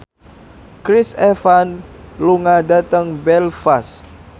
Chris Evans lunga dhateng Belfast